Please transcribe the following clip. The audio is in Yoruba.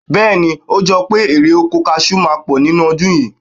Bẹ́ẹ̀ ni, o jọ pé erè-oko kaṣù máa pọ̀ ní ọdún yìí.